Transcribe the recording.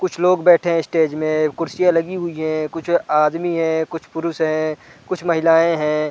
कुछ लोग बैठे हैं स्टेज में कुर्सियां लगी हुई है कुछ आदमी है कुछ पुरुष है कुछ महिलाएं हैं।